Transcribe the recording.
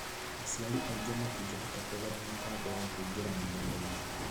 Aciari aingĩ matingĩhota kũgũra mĩtambo ya kũingĩra nenda-inĩ